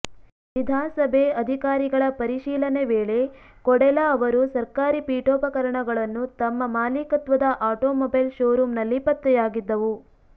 ವಿಧಾಸಭೆ ಅಧಿಕಾರಿಗಳ ಪರಿಶೀಲನೆ ವೇಳೆ ಕೊಡೆಲ ಅವರು ಸರ್ಕಾರಿ ಪಿಠೋಪಕರಣಗಳನ್ನು ತಮ್ಮ ಮಾಲೀಕತ್ವದ ಆಟೋಮೊಬೈಲ್ ಶೋರೂಮ್ ನಲ್ಲಿ ಪತ್ತೆಯಾಗಿದ್ದವು